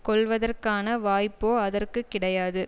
கொள்ளுவதற்கான வாய்ப்போ அதற்கு கிடையாது